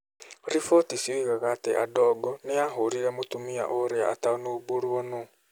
Riboti cioigaga atĩ Adongo nĩ ahũrire mũtumia ũrĩa atanaũmbũrwo nũũ.